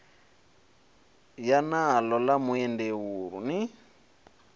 ya naḽo ḽa muendeulu ni